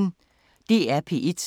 DR P1